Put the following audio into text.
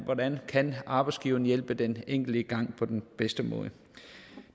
hvordan arbejdsgiveren kan hjælpe den enkelte i gang på den bedste måde